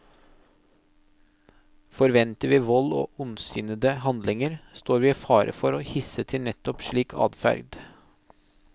Forventer vi vold og ondsinnede handlinger, står vi i fare for å hisse til nettopp slik adferd.